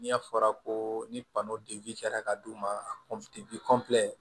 N'i y'a fɔra ko ni kɛra ka d'u ma